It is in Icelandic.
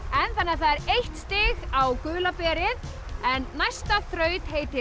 það er eitt stig á gula berið en næsta þraut heitir